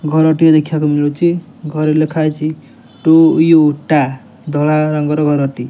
ଘର ଟିଏ ଦେଖିବାକୁ ମିଳୁଚି ଘରେ ଲେଖା ହୋଇଚି ଟୁ ୟୁ ଟା ଧଳା ରଙ୍ଗର ଘର ଟିଏ ।